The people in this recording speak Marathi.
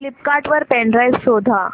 फ्लिपकार्ट वर पेन ड्राइव शोधा